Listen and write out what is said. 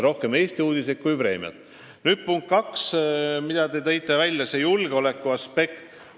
Nüüd punkt kaks, mille te välja tõite – julgeolekuaspekt.